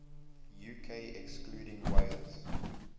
uk excluding wales